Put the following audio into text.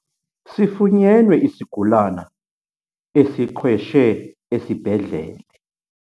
Sifunyenwe isigulana esiqhweshe esibhedlele.